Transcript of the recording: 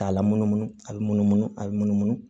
K'a lamunumunu a bɛ munumunu a bɛ munumunu